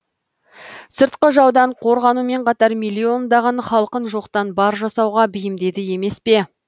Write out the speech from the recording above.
сыртқы жаудан қорғанумен қатар миллиондаған халқын жоқтан бар жасауға бейімдеді емес пе